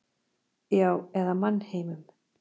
Já, eða mannheimum.